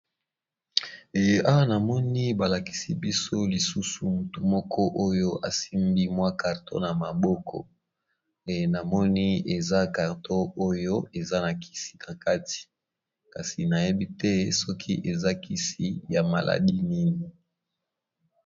Awa na moni ba lakisi biso lisusu mutu moko oyo a simbi mwa carton na maboko, na moni eza carton oyo eza na kisi na kati kasi na yebi te soki eza kisi ya maladie nini .